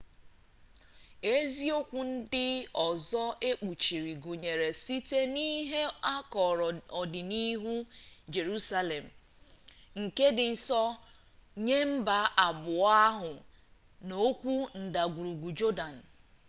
isiokwu ndị ọzọ ekpuchiri gụnyere site n'ihe akọrọ ọdịnihu jerusalem nke dị nsọ nye mba abụọ ahụ na okwu ndagwurugwu jọdan